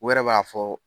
U yɛrɛ b'a fɔ